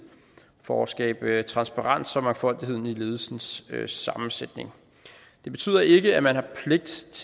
for at skabe transparens om mangfoldigheden i ledelsens sammensætning det betyder ikke at man har pligt